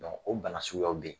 Bon o bana suguyaw bɛ yen.